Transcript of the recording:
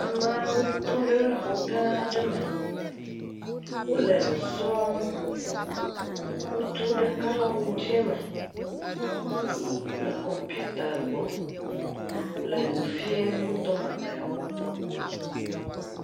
Ameawo tɔ ɖe xɔ gãã ɖe me. Wole nu srɔ̃m. Ŋutsu ɖeka le awu dzẽ me le kɔmpiuta gbɔ. Le nufiem wotɔ mamlɛwo.